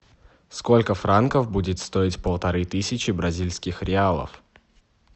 сколько франков будет стоить полторы тысячи бразильских реалов